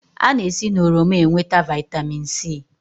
A na esi n'oroma enweta Vị́tamị́n C